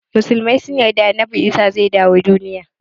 Musulmai sun yarda annabi Isa (AS) zai dawo duniya.